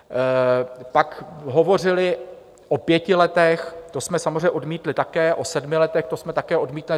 Pak hovořili o pěti letech, to jsme samozřejmě odmítli také, o sedmi letech, to jsme také odmítli.